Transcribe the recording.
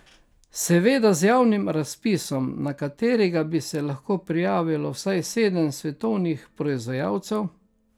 Seveda z javnim razpisom, na katerega bi se lahko prijavilo vsaj sedem svetovnih proizvajalcev.